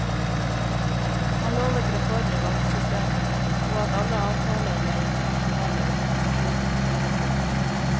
Han lovet reform i valgsystemet og at alle avtaler med internasjonale organisasjoner vil bli fulgt.